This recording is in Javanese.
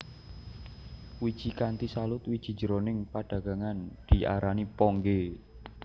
Wiji kanthi salut wiji jroning padagangan diarani ponggè